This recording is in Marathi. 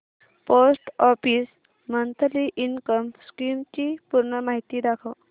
post office monthly income scheme ची पूर्ण माहिती दाखव